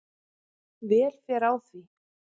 Vel fer á því.